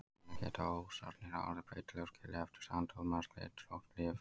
Þannig geta ósarnir orðið breytilegir og skilið eftir sandhólma eða slitrótt rif.